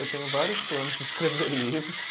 Eu tenho vários planos de escrever livros.